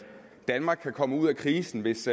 danmark kan komme ud af krisen hvis